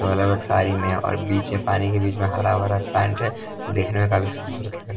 तो अलग-अलग साड़ी में और बीच में पानी के बीच में हरा भर प्लांट है देखने में काफ़ी खूबसूरत लगता है ।